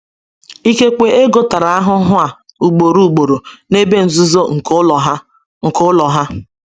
Ikekwe Ego tara ahụhụ a ugboro ugboro n’ebe nzuzo nke ụlọ ha. nke ụlọ ha.